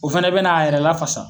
O fana bɛna a yɛrɛ lafasa